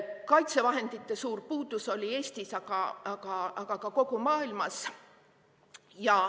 Kaitsevahendite suur puudus oli Eestis, aga ka kogu maailmas.